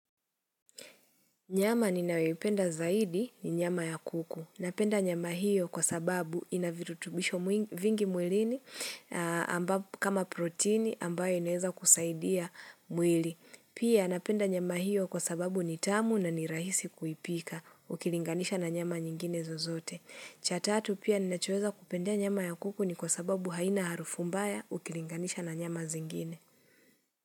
Nyama ninayoipenda zaidi ni nyama ya kuku. Napenda nyama hiyo kwa sababu inavirutubisho vingi mwilini kama protini ambayo inaweza kusaidia mwili. Pia napenda nyama hiyo kwa sababu nitamu na ni rahisi kuipika ukilinganisha na nyama nyingine zozote. Chataatu pia ninachoeza kupenda nyama ya kuku ni kwa sababu haina harufumbaya ukilinganisha na nyama zingine.